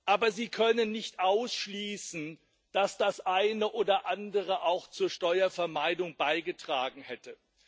Aber sie können nicht ausschließen, dass das eine oder andere auch zur Steuervermeidung beigetragen hätte.